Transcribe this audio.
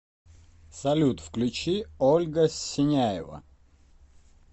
салют включи ольга синяева